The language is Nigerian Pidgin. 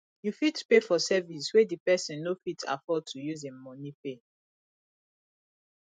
you fit pay for service wey di person no fit afford to use im money pay